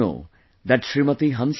Did you know that Smt